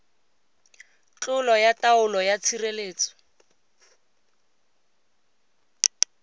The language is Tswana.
tlolo ya taolo ya tshireletso